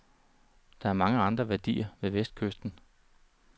Der er mange andre værdier ved vestkysten.